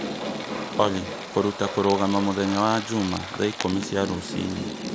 Olly kũruta kũrũgama mũthenya wa Jumaa thaa ikũmi cia rũcinĩ